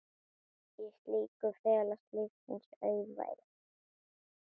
Í slíku felast lífsins auðæfi.